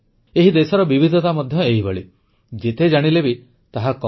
ଏହି ଦେଶର ବିବିଧତା ମଧ୍ୟ ଏହିଭଳି ଯେତେ ଜାଣିଲେ ବି ତାହା କମ୍